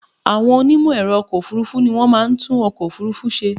Àwọn onímẹ̀ẹ̀rọ ọkọ̀ ọ̀furufú ni wọ́n máa ń tún ọkọ̀ òfurufú ṣe.